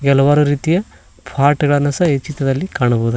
ಹಲವಾರು ರೀತಿಯ ಪಾಟ್ ಗಳನ್ನೂ ಸಹ ಈ ಚಿತ್ರದಲ್ಲಿ ಕಾಣಬವುದು.